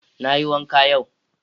Na yi wanka yau.